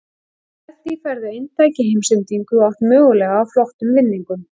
Með því færðu eintak í heimsendingu og átt möguleika á flottum vinningum.